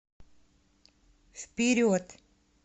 вперед